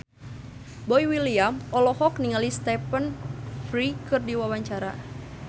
Boy William olohok ningali Stephen Fry keur diwawancara